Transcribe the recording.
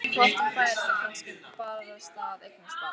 Og hvort hún færi þá kannski barasta að eignast barn.